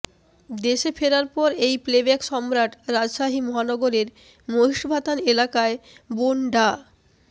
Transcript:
দেশে ফেরার পর এই প্লেব্যাক সম্রাট রাজশাহী মহানগরের মহিষবাথান এলাকায় বোন ডা